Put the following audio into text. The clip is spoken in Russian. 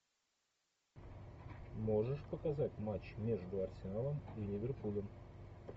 можешь показать матч между арсеналом и ливерпулем